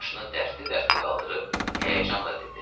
Başını dərdli-dərdli qaldırıb həyəcanla dedi: